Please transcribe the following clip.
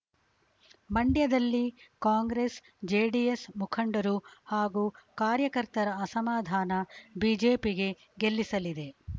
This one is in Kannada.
ಮಂಡ್ಯದಲ್ಲಿ ಕಾಂಗ್ರೆಸ್‌ಜೆಡಿಎಸ್‌ ಮುಖಂಡರು ಹಾಗೂ ಕಾರ್ಯಕರ್ತರ ಅಸಮಾಧಾನ ಬಿಜೆಪಿಗೆ ಗೆಲ್ಲಿಸಲಿದೆ